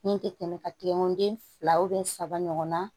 Min tɛ tɛmɛ ka tɛgɛ ko den fila saba ɲɔgɔn na